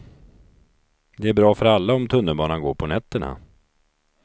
Det är bra för alla om tunnelbanan går på nätterna.